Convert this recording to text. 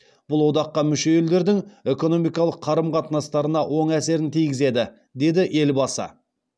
бұл одаққа мүше елдердің экономикалық қарым қатынастарына оң әсерін тигізеді деді елбасы